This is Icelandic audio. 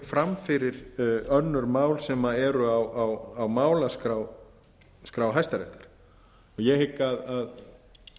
fram fyrir önnur mál sem eru á málaskrá hæstaréttar ég hygg að